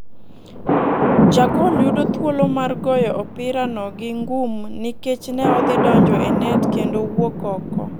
Jagol yudo thuolo mar goyo opira no gi ngum nikech ne odhi donjo e net kendo owuok oko.